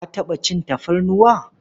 Ka taɓa cin tafarnuwa?